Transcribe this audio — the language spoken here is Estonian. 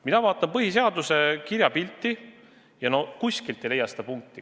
Mina vaatan põhiseaduse kirjapilti ja no kuskilt ei leia seda punkti.